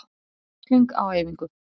Upprunalega hljóðaði spurningin svona?